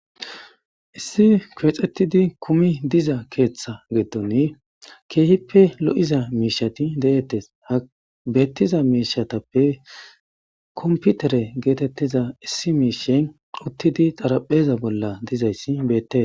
Issi koexettidi kumi diza keeththa geeddoni keehippe lo7iza miishati deettes ha beettiza miishatappe komputere geetettiza issi miishen uttidi xarapheza bolla dizayssi beette.